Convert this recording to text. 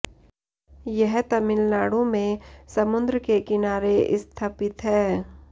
यह तमिलनाडु में समुद्र के किनारे स्थपित है